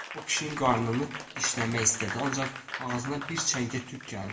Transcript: O pişiyin qarnını dişləmək istədi, ancaq ağzına bir çəngə tük gəldi.